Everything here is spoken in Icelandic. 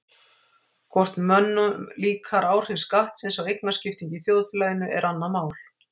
Hvort mönnum líkar áhrif skattsins á eignaskiptingu í þjóðfélaginu er annað mál.